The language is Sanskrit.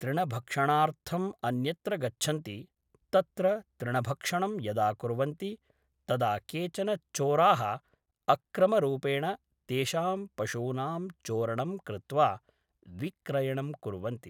तृणभक्षणार्थम् अन्यत्र गच्छन्ति तत्र तृणभक्षणं यदा कुर्वन्ति तदा केचन चोराः अक्रमरूपेण तेषां पशूनां चोरणं कृत्वा विक्रयणं कुर्वन्ति